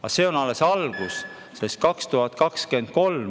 Aga see on alles algus, see oli aastal 2023.